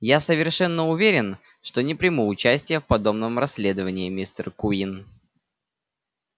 я совершенно уверен что не приму участия в подобном расследовании мистер куинн